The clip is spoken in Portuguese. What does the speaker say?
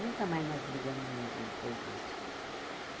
Nunca mais nós brigamos mesmo depois disso.